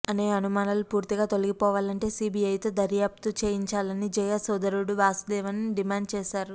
అనే అనుమానాలు పూర్తిగా తొలగిపోవాలంటే సీబీఐతో దర్యాప్తు చేయించాలని జయ సోదరుడు వాసుదేవన్ డిమాండ్ చేశారు